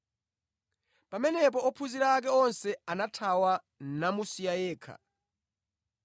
Pamenepo ophunzira ake onse anathawa namusiya yekha.